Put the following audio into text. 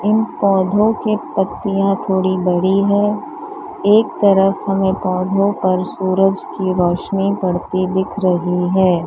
इन पौधों के पत्तियां थोड़ी बड़ी है एक तरफ हमें पौधों पर सूरज की रोशनी पड़ती दिख रही है।